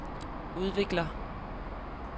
udvikler